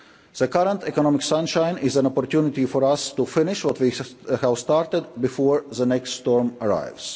The current economic sunshine is an opportunity for us to finish what we have started before the next storm arrives.